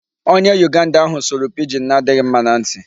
Onye Uganda ahụ sụrụ Pidgin na-adịghị mma na ntị.